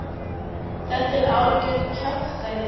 Þetta er algjört kjaftæði?